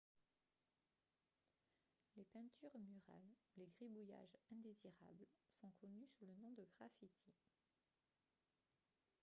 les peintures murales ou les gribouillages indésirables sont connus sous le nom de graffitis